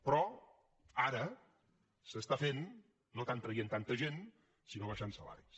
però ara s’està fent no tant traient tanta gent sinó abaixant salaris